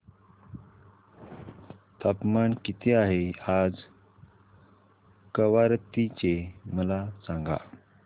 तापमान किती आहे आज कवारत्ती चे मला सांगा